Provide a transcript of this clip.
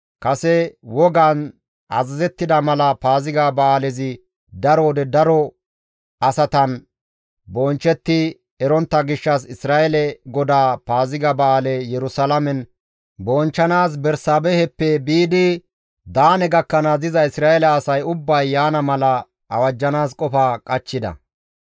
Kase wogaan azazettida mala Paaziga ba7aalezi daro wode daro asatan bonchchetti erontta gishshas Isra7eele GODAA Paaziga ba7aale Yerusalaamen bonchchanaas Bersaabeheppe biidi Daane gakkanaas diza Isra7eele asay ubbay yaana mala awajjanaas qofa qachchida.